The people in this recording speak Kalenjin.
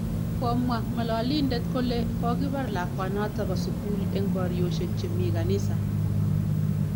Komwa ng'alalindet kole kokobar lakwanoto bo sugul eng baryosyek chemii kanisa